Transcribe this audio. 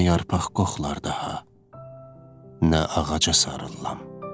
Nə yarpaq qoxular daha, nə ağaca sarılıram.